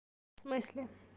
в смысле